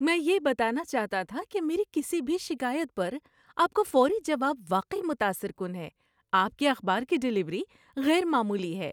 میں یہ بتانا چاہتا تھا کہ میری کسی بھی شکایت پر آپ کا فوری جواب واقعی متاثر کن ہے۔ آپ کے اخبار کی ڈلیوری غیر معمولی ہے۔